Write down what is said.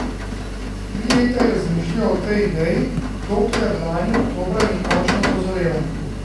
Tri leta je razmišljal o tej ideji, dokler lani oktobra ni končno dozorela.